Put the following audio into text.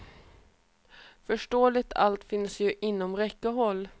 Förståeligt, allt finns ju inom räckhåll.